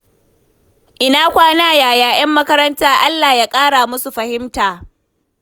Ina kwana, yaya ‘yan makaranta? Allah ya ƙara musu fahimta.